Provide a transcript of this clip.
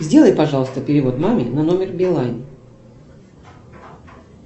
сделай пожалуйста перевод маме на номер билайн